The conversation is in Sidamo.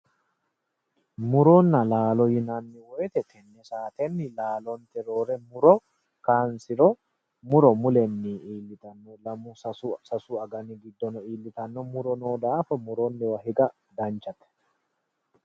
Muronna laalo yinanni woyiite laalonteyii roore muro kaansiro mulenni iillitanno lamu sasu agani giddono iillitano muro no daafo muronniwa higa danchate